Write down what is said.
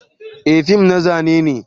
Eh, fim na zane ne.